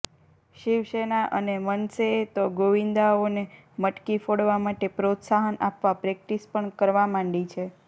શિવસેના અને મનસેએ તો ગોવિંદાઓને મટકી ફોડવા માટે પ્રોત્સાહન આપવા પ્રેક્ટિસ પણ કરવા માંડી છે